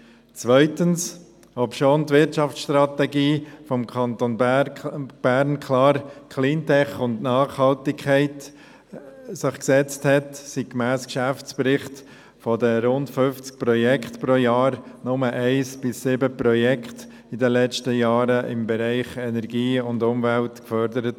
Zweitens: Obschon sich die Wirtschaftsstrategie des Kantons Bern klar Cleantech und Nachhaltigkeit als Ziel gesetzt hat, wurden gemäss Geschäftsbericht von den rund 50 Projekten pro Jahr nur 1–7 Projekte in den letzten Jahren im Bereich Energie und Umwelt gefördert.